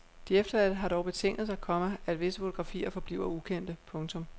De efterladte har dog betinget sig, komma at visse fotografier forbliver ukendte. punktum